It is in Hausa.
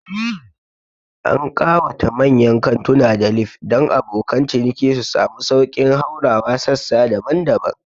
An ƙawata mayyan kantuna da lif dan abokan ciniki su samu sauƙin haurawa sassa daban-daban